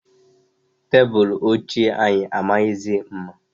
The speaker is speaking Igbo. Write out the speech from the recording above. Tebulu ochie anyị amaghịzi mma.